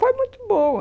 Foi muito boa.